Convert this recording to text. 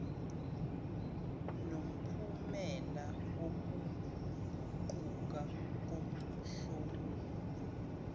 nomphumela wokuguquka komhlomulo